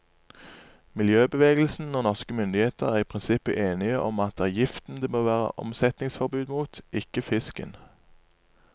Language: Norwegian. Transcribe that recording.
Miljøbevegelsen og norske myndigheter er i prinsippet enige om at det er giften det bør være omsetningsforbud mot, ikke fisken.